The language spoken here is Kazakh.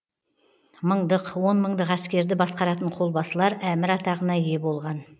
мыңдық он мыңдық әскерді басқаратын қолбасылар әмір атағына ие болған